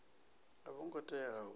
a vho ngo tea u